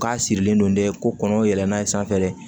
K'a sirilen don dɛ ko kɔngɔ yɛlɛn n'a ye sanfɛ de